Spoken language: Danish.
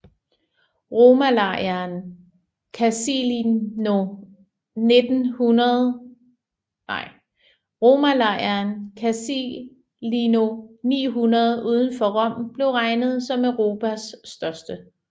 Romalejren Casilino 900 udenfor Rom blev regnet som Europas største